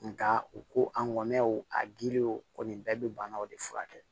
Nka u ko an ŋɔniyaw a giriyaw kɔni bɛɛ be banaw de furakɛ